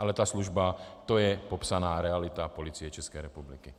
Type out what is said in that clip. Ale ta služba, to je popsaná realita Policie České republiky.